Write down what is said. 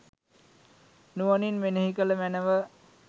නුවණින් මෙනෙහි කළ මැනව